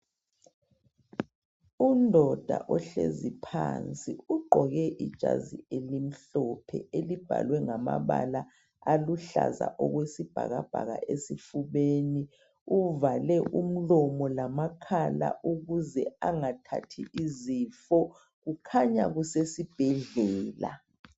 Undoda ohlezi phansi ugqoke ijazi elimhlophe elibhalwe ngamabala aluhlaza okwesibhakabhaka esifubeni. Uvale umlomo lamakhala ukuze angathathi izifo. Kukhanya kusesibhedlela.